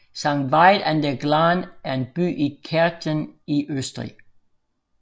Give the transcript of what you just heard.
Sankt Veit an der Glan er en by i Kärnten i Østrig